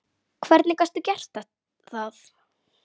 Hvernig gastu gert það?!